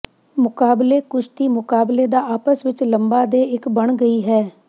ਮੁਕਾਬਲੇ ਕੁਸ਼ਤੀ ਮੁਕਾਬਲੇ ਦਾ ਆਪਸ ਵਿੱਚ ਲੰਬਾ ਦੇ ਇੱਕ ਬਣ ਗਈ ਹੈ